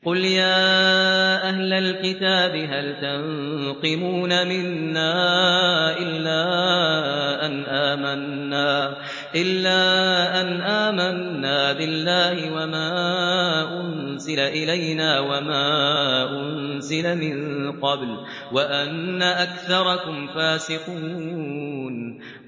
قُلْ يَا أَهْلَ الْكِتَابِ هَلْ تَنقِمُونَ مِنَّا إِلَّا أَنْ آمَنَّا بِاللَّهِ وَمَا أُنزِلَ إِلَيْنَا وَمَا أُنزِلَ مِن قَبْلُ وَأَنَّ أَكْثَرَكُمْ فَاسِقُونَ